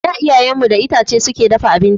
A da iyayen mu da itace suke dafa abinci